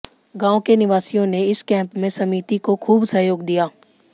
गांव के निवासियों ने इस कैम्प में समिति को खूब सहयोग दिया